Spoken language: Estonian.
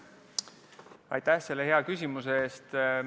Aitäh selle küsimuse eest!